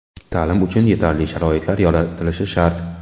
Ta’lim uchun yetarli sharoitlar yaratilishi shart.